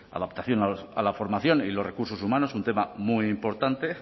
adaptación a la formación y los recursos humanos un tema muy importante